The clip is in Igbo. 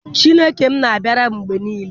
Chineke m na-abịara m mgbe niile.